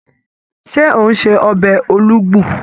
Ṣé ò ń se ọbẹ̀ Olugbu?